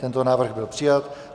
Tento návrh byl přijat.